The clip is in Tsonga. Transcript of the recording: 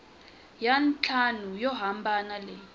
ya ntlhanu yo hambana leyi